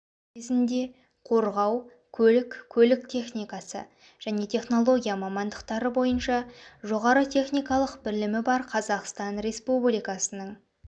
кезінде қорғау көлік көлік техникасы және технология мамандықтары бойынша жоғары техникалық білімі бар қазақстан республикасының